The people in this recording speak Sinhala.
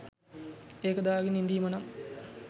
ඒක දාගෙන ඉඳීම නං